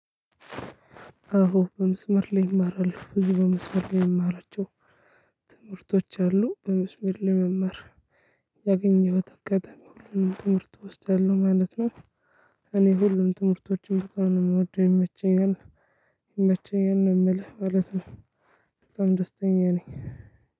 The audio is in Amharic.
አዎ በምስመር ላይ እማራለው ብዙ በምስመር ላይ የምማራቸው ትምህርቶች አሉ በምስመር ላይ መማር ያገኘሁት አጋጣሚ ሁሉንም ትምህርት እወስዳለው ማለት ነው። እኔ ሁሉንም ትምህርቶችን በጣም ነው የምወደው ይመቸኛል ይመቸኛል ነው ምልህ ማለት ነው። በጣም ደስተኛ ነኝ።